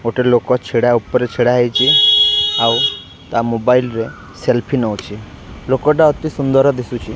ଗୋଟେ ଲୋକ ଛିଡ଼ା ଉପରେ ଛିଡା ହେଇଛି ଆଉ ତା ମୋବାଇଲ ରେ ସେଲ୍ଫି ନଉଛି ଲୋକଟା ଅତି ସୁନ୍ଦର ଦିଶୁଛି।